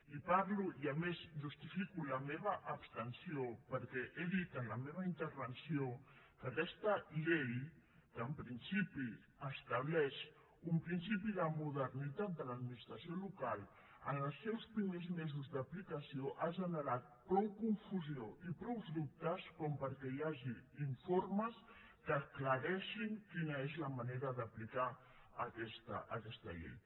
i parlo i a més justifico la meva abstenció perquè he dit en la meva intervenció que aquesta llei que en principi estableix un principi de modernitat de l’administració local en els seus primers mesos d’aplicació ha generat prou confusió i prou dubtes perquè hi hagi informes que aclareixin quina és la manera d’aplicar aquesta llei